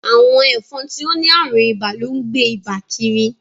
Awọn ẹfọn ti o ni arùn ìbà lón gbé Ìbà kírí.